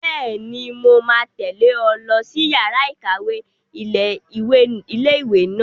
Bẹ́ẹ̀ni, mo máa tẹ̀lé ọ lọ sí yàrá-ìkàwé ilé-ìwé náà